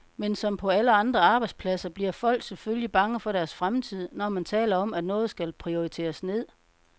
Men som på alle andre arbejdspladser bliver folk selvfølgelig bange for deres fremtid, når man taler om, at noget skal prioriteres ned.